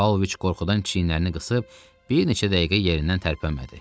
Pavloviç qorxudan çiyinlərini qısıb bir neçə dəqiqə yerindən tərpənmədi.